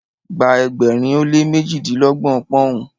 gba ẹgbẹrin o le mejilelọgbọn poun